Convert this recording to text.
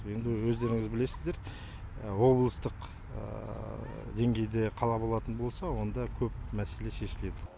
енді өздеріңіз білесіздер облыстық деңгейде қала болатын болса онда көп мәселе шешіледі